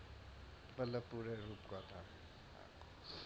বল্লভপুরের রূপকথা,